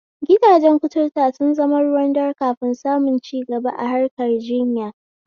Gidajen kuturta sun zama ruwan dare kafin samun cigabar kimiya a harkan jinya.